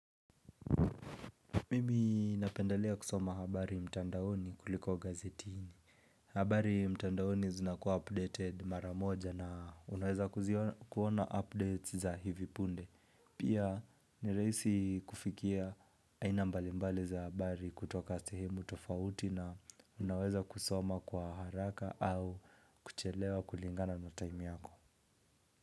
Mimi napendalia kusoma habari mtandaoni kuliko gazetini habari mtandaoni zunakuwa updated maramoja na unaweza kuona updates za hivipunde Pia ni rahisi kufikia aina mbali mbali za habari kutoka sehemu tofauti na unaweza kusoma kwa haraka au kuchelewa kulingana na time yako.